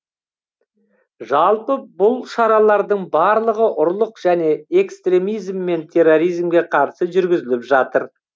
жалпы бұл шаралардың барлығы ұрлық және экстремизм мен терроризмге қарсы жүргізіліп жатыр